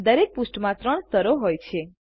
દરેક પૃષ્ઠમાં ત્રણ સ્તરો હોય છે